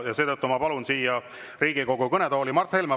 Ja seetõttu ma palun siia Riigikogu kõnetooli Mart Helme.